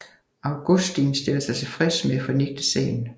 Augustin stiller sig tilfreds med at fornægte sagen